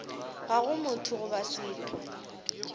ga go motho goba setho